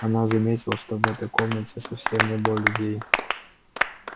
она заметила что в этой комнате совсем не было людей